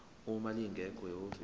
uma lingekho ihhovisi